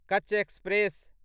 Kutch express